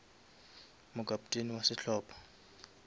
mo kapteni wa sehlopa